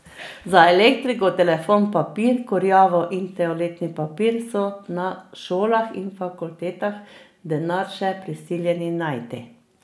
Za elektriko, telefon, papir, kurjavo in toaletni papir so na šolah in fakultetah denar še prisiljeni najti.